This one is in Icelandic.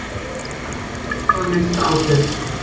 Fæst orð hafa minnsta ábyrgð.